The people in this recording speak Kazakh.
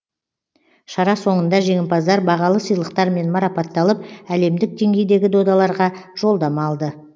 шара соңында жеңімпаздар бағалы сыйлықтармен марапатталып әлемдік деңгейдегі додаларға жолдама алды